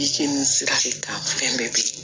Yiri ni sira de kan fɛn bɛɛ bi